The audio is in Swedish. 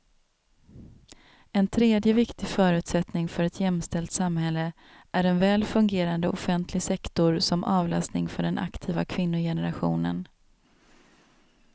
En tredje viktig förutsättning för ett jämställt samhälle är en väl fungerande offentlig sektor som avlastning för den aktiva kvinnogenerationen.